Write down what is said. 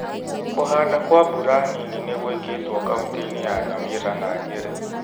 Ku͂handa kwa mbura nini ni͂gwi͂ ki͂two kaunti-ini͂ ya Nyamira na Nyeri.